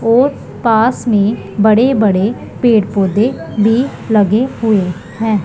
और पास में बड़े बड़े पेड़ पौधे भी लगे हुए हैं।